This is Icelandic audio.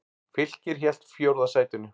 Fylkir hélt fjórða sætinu